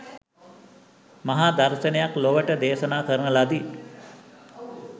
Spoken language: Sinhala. මහා දර්ශනයක් ලොවට දේශනා කරන ලදි